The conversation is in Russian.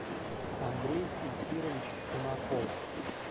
андрей эльфирович кунаков